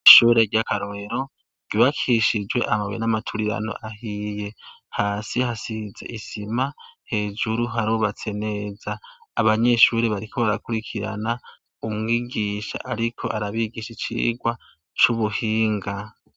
Ishure ry’akarorero, ryubakishijwe amabuye n’amaturirano ahiye, hasi hasize isima, hejuru harubatse neza. Abanyeshure bariko barakurikirana umwigisha ariko arabigisha icigwa c’ubuhinga.